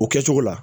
O kɛcogo la